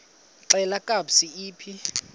xelel kabs iphi